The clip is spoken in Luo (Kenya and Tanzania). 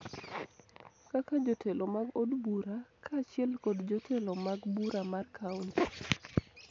kaka jotelo mag od bura kaachiel kod jotelo mag bura mar kaonti